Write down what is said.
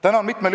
Tänan!